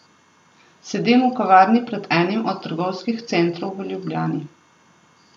Sedim v kavarni pred enim od trgovskih centrov v Ljubljani.